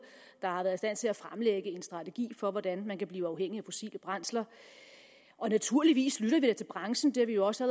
der har været i stand til at fremlægge en strategi for hvordan man kan blive uafhængig af fossile brændsler naturligvis lytter vi da til branchen det har vi jo også